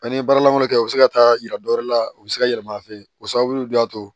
An ye baaralanw kɛ u bɛ se ka taa yira dɔwɛrɛ la u bɛ se ka yɛlɛma an fɛ yen o sababu de y'a to